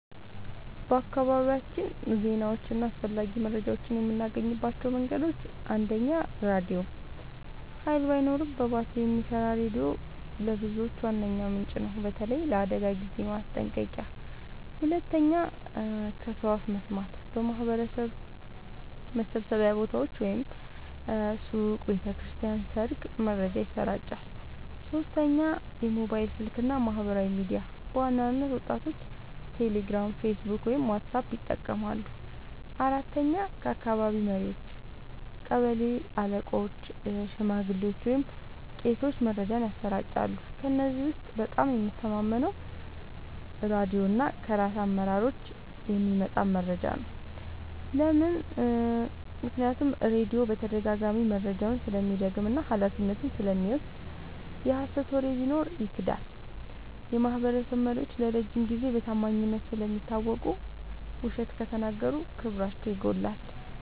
በአካባቢያችን ዜናዎችን እና አስፈላጊ መረጃዎችን የምናገኝባቸው መንገዶች፦ 1. ራድዮ – ኃይል ባይኖርም በባትሪ የሚሰራ ሬዲዮ ለብዙዎች ዋነኛ ምንጭ ነው፣ በተለይ ለአደጋ ጊዜ ማስጠንቀቂያ። 2. ከሰው አፍ መስማት – በማህበረሰብ መሰብሰቢያ ቦታዎች (ሱቅ፣ ቤተ ክርስቲያን፣ ሰርግ) መረጃ ይሰራጫል። 3. ሞባይል ስልክ እና ማህበራዊ ሚዲያ – በዋናነት ወጣቶች ቴሌግራም፣ ፌስቡክ ወይም ዋትስአፕ ይጠቀማሉ። 4. ከአካባቢ መሪዎች – ቀበሌ አለቆች፣ ሽማግሌዎች ወይም ቄሶች መረጃን ያሰራጫሉ። ከእነዚህ ውስጥ በጣም የምተማመነው ራድዮ እና ከራስ አመራሮች የሚመጣ መረጃ ነው። ለምን? · ራድዮ በተደጋጋሚ መረጃውን ስለሚደግም እና ኃላፊነቱን ስለሚወስድ። የሀሰት ወሬ ቢኖር ይክዳል። · የማህበረሰብ መሪዎች ለረጅም ጊዜ በታማኝነት ስለሚታወቁ፣ ውሸት ከተናገሩ ክብራቸው ይጎዳል።